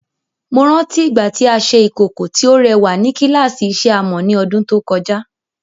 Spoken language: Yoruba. Mo rántí ìgbà tí a ṣe ìkòkò tí ó rẹwà ní kíláàsì ìṣe amọ̀ ní ọdún tó kọjá.